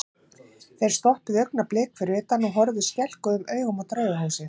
Þeir stoppuðu augnablik fyrir utan og horfðu skelkuðum augum á Draugahúsið.